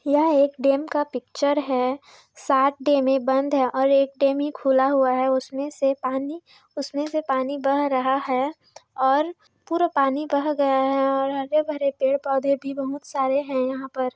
यह एक डैम का पिक्चर है सात डैम बंद है एक डैम खुला है उसमे से पानी उसमे से पानी बह रहा है और पुरा पानी बह गया है और हरे भरे पेड पौधे भी बहुत सारे हैं यहाँ पर।